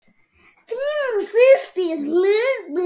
Þín systir Hulda.